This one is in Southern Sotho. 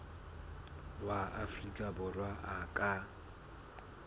wa afrika borwa a ka